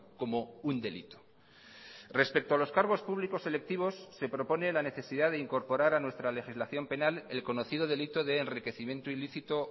como un delito respecto a los cargos públicos selectivos se propone la necesidad de incorporar a nuestra legislación penal el conocido delito de enriquecimiento ilícito